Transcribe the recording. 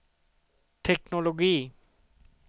teknologi